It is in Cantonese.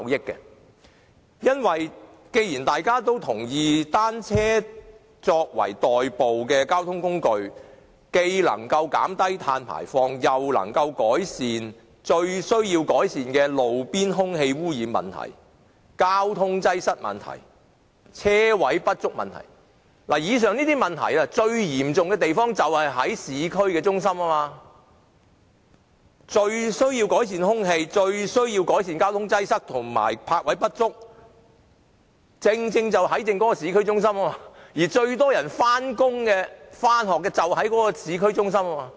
大家均認同單車作為代步的交通工具，既能減低碳排放量，亦能改善急需改善的路邊空氣污染、交通擠塞、車位不足等問題，而這些問題在市區中心最為嚴重，最需要改善空氣污染、交通擠塞及泊位不足問題的地方，就是市區中心，而最多人上班、上學的地方亦是市區中心。